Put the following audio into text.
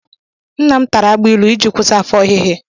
Nnam tara agbailu iji kwụsị afọ ọhịhị.